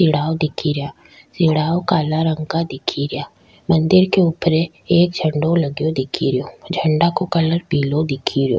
सीडाव दिख रिया सीडाव काला रंग का दिख रिया मंदिर के ऊपर एक झंडा लगे दिख रिया झंडा का कलर पिला दिख रो।